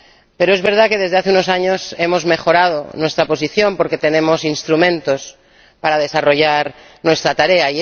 Pero es verdad que, desde hace unos años, hemos mejorado nuestra posición, porque tenemos instrumentos para desarrollar nuestra tarea.